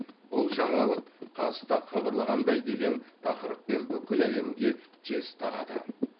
бұл жаңалық қазтаг хабарлағандай деген тақырыппен бүкіл әлемге тез тарады